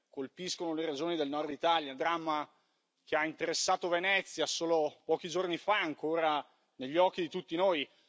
colpiscono le regioni del Nord Italia, un dramma che ha interessato Venezia solo pochi giorni fa ed è ancora negli occhi di tutti noi.